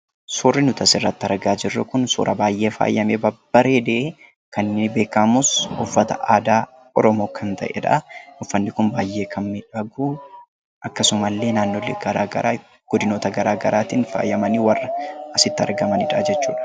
Suurri nuti asirratti argaa jirru kun, suuraa baayyee faayamee babbareedee kan inni beekamus uffata aadaa Oromoo kan ta'edhaa. Uffanni kun baayyee kan miidhaguu akkasuma illee naannolee garaagaraa godinoota garaagaraatiin faayamanii warra asitti argamanidha jechuudha.